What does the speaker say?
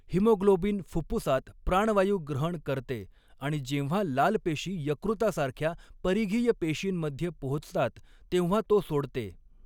Haemoglobin फुफ्फुसात प्राणवायू ग्रहण करते आणि जेव्हा लाल पेशी यकृतासारख्या परिघीय पेशींमध्ये पोहोचतात तेव्हा तो सोडते.